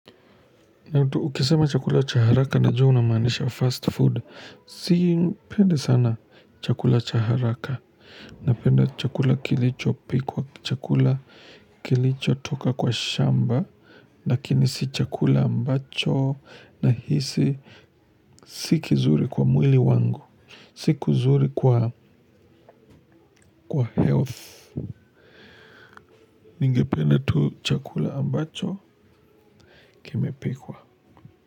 Ukisema chakula cha haraka na jua una maanisha fast food sipendi sana chakula cha haraka. Napenda chakula kilicho pikwa chakula kilicho toka kwa shamba. Lakini si chakula ambacho nahisi si kizuri kwa mwili wangu. Si kizuri kwa health. Ningependa tu chakula ambacho kimepikwa.